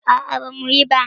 A'a bamu yi ba.